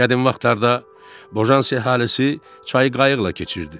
Qədim vaxtlarda Bojansi əhalisi çayı qayıqla keçirdi.